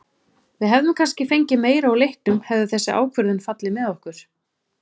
Við hefðum kannski fengið meira úr leiknum hefði þessi ákvörðun fallið með okkur.